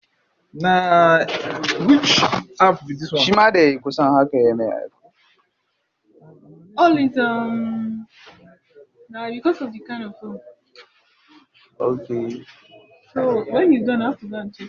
Mudubin ya taimaka masa wajen ganin kansa yayin da yake aske gemunsa